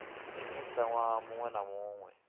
minista nwaha munwe na munwe